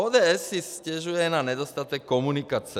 ODS si stěžuje na nedostatek komunikace.